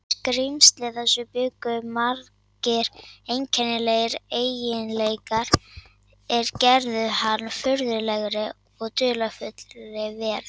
Í skrímsli þessu bjuggu margir einkennilegir eiginleikar, er gerðu hann að furðulegri og dularfullri veru.